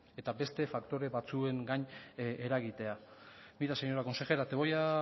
eta beste faktore batzuengan eragitea mira señora consejera te voy a